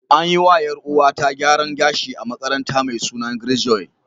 An yi wa ‘Yar’uwata gyaran gashi a makaranta mai suna Grace Joy.